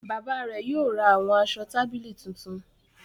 Bayba rẹ yóò rà awọn aṣọ tábìlì tuntun.